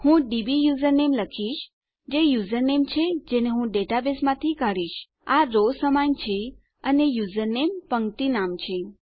હું DB username લખીશ જે યુઝરનેમ છે જેને હું ડેટાબેઝમાંથી કાઢીશ આ રો સમાન છે અને યુઝરનેમ પંક્તિ નામ છે